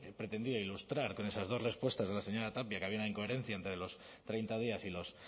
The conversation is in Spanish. pretendido ilustrar con esas dos respuestas de la señora tapia que había una incoherencia entre los treinta días y los